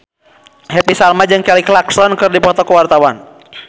Happy Salma jeung Kelly Clarkson keur dipoto ku wartawan